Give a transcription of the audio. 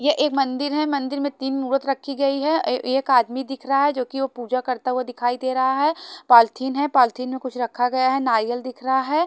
ये एक मंदिर है मंदिर में तीन मूरत रखी गयी है ए एक आदमी दिख रहा है जो की पूजा करता हुआ दिखाई दे रहा है पॉलथिन है पॉलथिन में कुछ रखा गया है नारियल दिख रहा है।